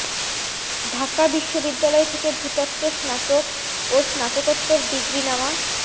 ঢাকা বিশ্ববিদ্যালয় থেকে ভূতত্ত্বে স্নাতক ও স্নাতকোত্তর ডিগ্রি নেওয়া